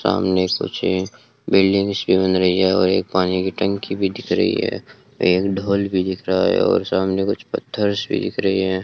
सामने कुछ बिल्डिंग्स सी बन रही है और एक पानी की टंकी भी दिख रही है एक ढोल भी दिख रहा है और सामने कुछ पत्थरस भी दिख रहे हैं।